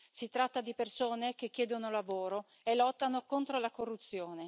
si tratta di persone che chiedono lavoro e lottano contro la corruzione.